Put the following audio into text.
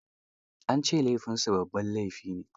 An ce laifinsa babban laifi ne.